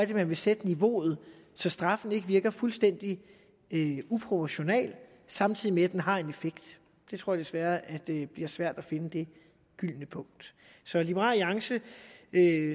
vil sætte niveauet så straffen ikke virker fuldstændig uproportional samtidig med at den har en effekt jeg tror desværre at det bliver svært at finde det gyldne punkt så liberal alliance